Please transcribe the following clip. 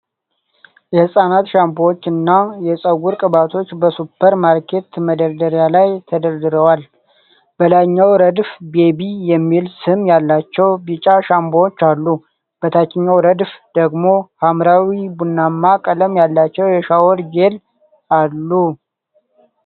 የህፃናት ሻምፖዎችና የፀጉር ቅባቶች በሱፐር ማርኬት መደርደሪያ ላይ ተደርድረዋል፡፡ በላይኛው ረድፍ "ቤቢ" የሚል ስም ያላቸው ቢጫ ሻምፖዎች አሉ፡፡ በታችኛው ረድፍ ደግሞ ሐምራዊና ቡናማ ቀለም ያላቸው የሻወር ጄል አሉ፡፡